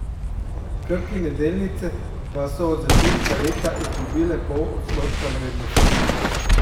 Krkine Delnice pa so od začetka leta izgubile pol odstotka vrednosti.